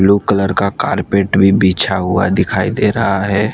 Blue colour का carpet भी बिछा हुआ दिखाई दे रहा है।